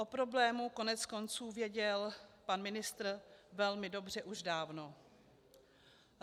O problému koneckonců věděl pan ministr velmi dobře už dávno.